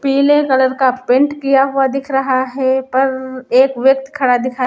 पीले कलर का पेंट किया हुआ दिख रहा है पररर्र एक व्यक्त खड़ा दिखा---